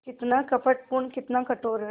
कितना कपटपूर्ण कितना कठोर है